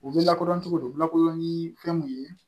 U bɛ lakodɔn cogo di u lakodɔn ni fɛn mun ye